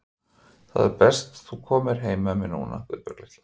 Það er best þú komir heim með mér núna, Guðbjörg litla.